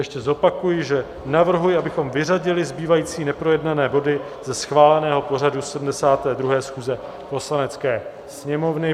Ještě zopakuji, že navrhuji, abychom vyřadili zbývající neprojednané body ze schváleného pořadu 72. schůze Poslanecké sněmovny.